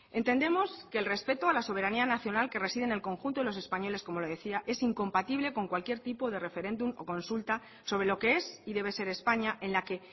entendemos que el respeto a la soberanía nacional que reside en el conjunto de los españoles como le decía es incompatible con cualquier tipo de referéndum o consulta sobre lo que es y debe ser españa en la que